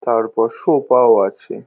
তার পর সোফা -ও আছে |